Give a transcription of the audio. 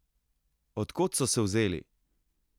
Od kod so se vzeli?